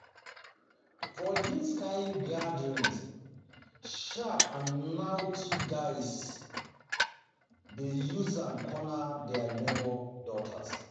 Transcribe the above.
For this kind gathering, sharp and naughty sharp and naughty boys dey use am corner their neighbour daughters.